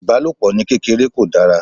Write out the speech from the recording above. Ìbálòpò ní kéreké kò dára.